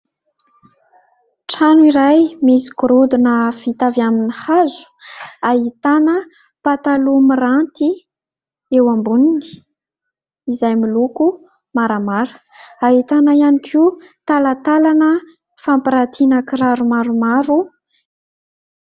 Trano iray misy gorodona vita avy amin'ny hazo ahitana pataloha miranty eo amboniny izay miloko maramara, ahitana ihany koa talantalana fampiratiana kiraro maromaro.